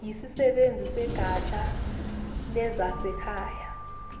yisisebenzi segatsha lezasekhaya